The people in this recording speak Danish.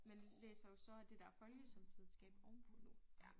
Men læser jo så det dér folkesundhedsvidenskab ovenpå nu ja